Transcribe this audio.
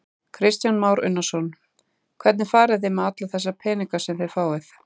Kristján Már Unnarsson: Hvernig farið þið með alla þessa peninga sem þið fáið?